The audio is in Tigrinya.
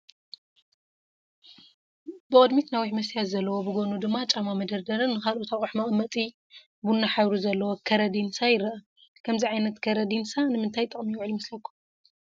ብቕድሚት ነዊሕ መስትያት ዘለዎ፣ ብጎኑ ድማ ጫማ መደርደርን ንኻልኦት ኣቕሑ መቐመጢ ቡና ሕብሪ ዘለዎ ከረዲንሳ ይረአ፡፡ ከምዚ ዓይነት ከረዲንሳ ንምንታይ ጥቕሚ ይውዕል ይመስለኩም?